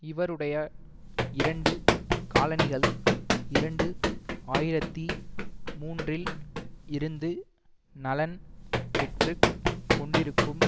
இவருடைய இரண்டு காலணிகள் இரண்டு ஆயிரத்தி மூன்றில் இருந்து நலன் பெற்று கொண்டிருக்கும்